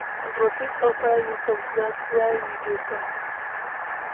I go fit offer you some snacks while we dey talk.